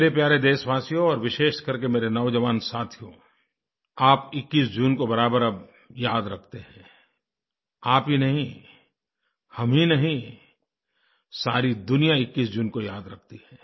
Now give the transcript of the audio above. मेरे प्यारे देशवासियो और विशेषकर के मेरे नौजवान साथियो आप 21 जून को बराबर अब याद रखते हैं आप ही नहीं हम ही नहीं सारी दुनिया 21 जून को याद रखती है